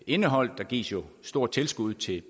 indeholdt der gives jo stort tilskud til